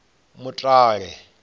mutale